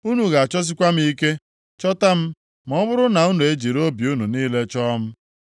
Unu ga-achọsikwa m ike, chọta m ma ọ bụrụ na unu ejiri obi unu niile chọọ m.